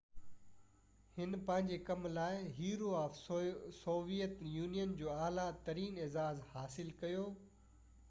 هن پنهنجي ڪم لاءِ، هيرو آف سويئيٽ يونين جو اعليٰ ترين اعزاز حاصل ڪيو